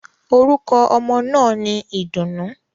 Orúkọ ọmọ náà ni Ìdùnnú.